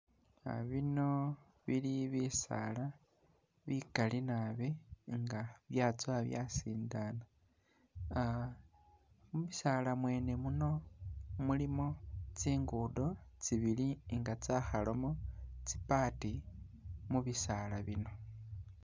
Ah biino bili bisaala bikaali naabi nga yatsowa basindaana uh mubisaala mwene muno mulimo tsinguudo tsibili nga tsakhalamo tsi part mubisaala biino.